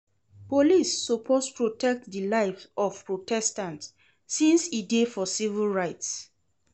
Police suppose protect di lives of protestants since e dey for civil rights.